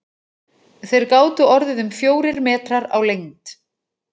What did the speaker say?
Þeir gátu orðið um fjórir metrar á lengd.